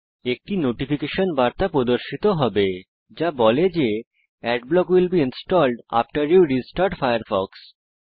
একটি নোটিফিকেশন বার্তা প্রদর্শিত হবে যা বলে যে Adblock will be installed after you restart Firefox